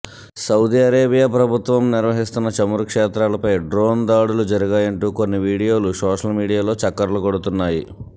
Saudi Arabia ప్రభుత్వం నిర్వహిస్తోన్న చమురు క్షేత్రాలపై డ్రోన్ దాడులు జరిగాయంటూ కొన్ని వీడియోలు సోషల్ మీడియాలో చక్కర్లు కొడుతున్నాయి